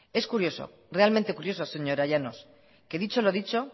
es curioso realmente curioso señora llanos que dicho lo dicho